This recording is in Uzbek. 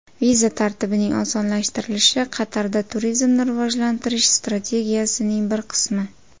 Viza tartibining osonlashtirilishi Qatarda turizmni rivojlantirish strategiyasining bir qismi.